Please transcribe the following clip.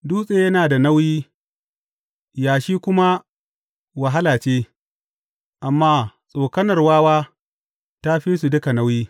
Dutse yana da nauyi yashi kuma wahala ce, amma tsokanar wawa ta fi su duka nauyi.